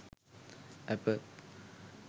apple